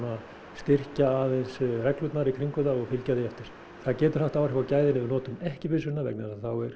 styrkja aðeins reglurnar í kringum það og fylgja því eftir það getur haft áhrif á gæðin ef við notum ekki byssuna vegna þess að þá eru